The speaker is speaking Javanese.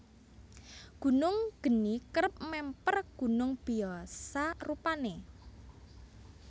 Gunung geni kerep mèmper gunung biyasa rupané